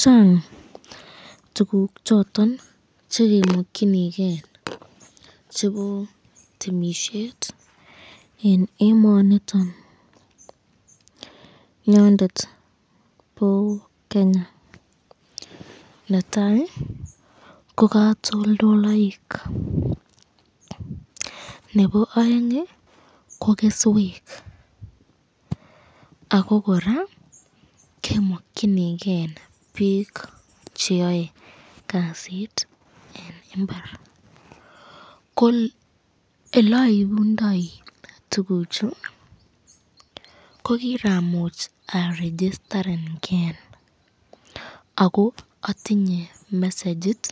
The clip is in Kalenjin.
chang tuguuk choton chegemokyinigee chebo temishet en emoniton nyondet bo kenya, netai ko katolldoloik, nebo oeng iih ko kesweek ago koraa kemokyinigee biik cheyoe kasiit en imbaar, ko eleimundoi tuguuk chu ko kiramuch arigistaren gee ago otinye mesegit